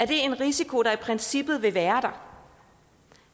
det er en risiko der i princippet vil være